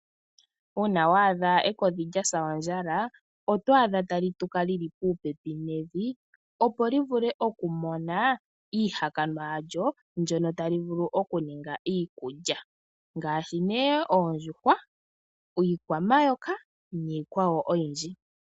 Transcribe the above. uuna wa adha ekodhi lya sa ondjala oto adha tali tuka li li puupepi nevi, opo li vule okumona iihakanwa yalyo mbyono tali vulu okuninga iikulya ngaashi oondjuhwa, omayoka niikwawo oyindji.